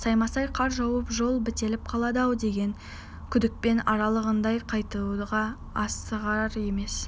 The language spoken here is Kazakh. саймасай қар жауып жол бітеліп қалады-ау деген күдіктен арылғандай қайтуға асығар емес